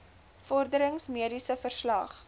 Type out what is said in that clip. vorderings mediese verslag